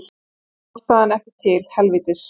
Stjórnarandstaðan ekki til helvítis